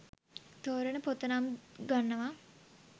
තෝරන පොත නම් ගන්නවා